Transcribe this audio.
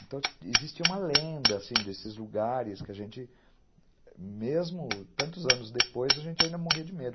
Então, existia uma lenda assim desses lugares que a gente, mesmo tantos anos depois, a gente ainda morria de medo.